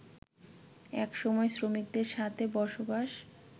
একসময় শ্রমিকদের সাথে বসবাস